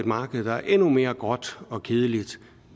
marked der er endnu mere gråt og kedeligt